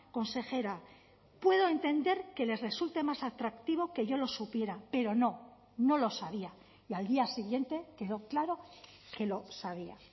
consejera puedo entender que les resulte más atractivo que yo lo supiera pero no no lo sabía y al día siguiente quedó claro que lo sabía